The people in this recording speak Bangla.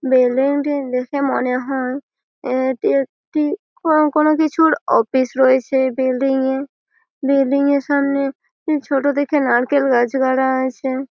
বিল্ডিংটি দেখে মনে হয় এটি একটি কোনো কোনো কিছুর অফিস রয়েছে এই বিল্ডিংয়ে । বিল্ডিংয়ের সামনে ছোট দেখে নারকেল গাছ গাড়া আছে।